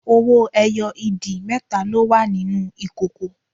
Owó ẹyọ ìdì mẹ́ta ló wà nínú ìkòkò